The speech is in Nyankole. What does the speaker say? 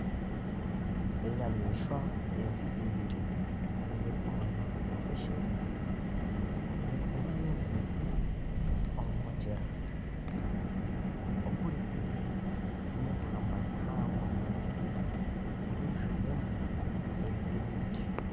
Enyamaishwa ibiri eziri kumanywa nkeshere ziriyo nizinywa amaizi omu mugyera oguri haihi neihamba rihango erizwiiremu ebiti bingi